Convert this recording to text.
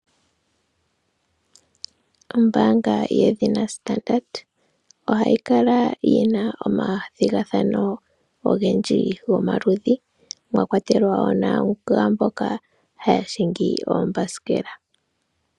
Ombaanga yedhina Standard, ohayi kala yina omathigathano ogendji gomaludhi, mwa kwatelwa wo nagaamboka haya hingi oombasikela.